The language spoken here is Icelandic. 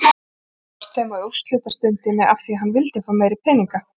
Brást þeim á úrslitastundinni af því að hann vildi fá meiri peninga!